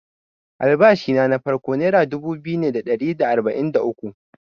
Albashina na farko nera dubu biyu ne da ɗari da arba’in da uku.